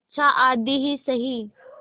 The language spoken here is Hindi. अच्छा आधी ही सही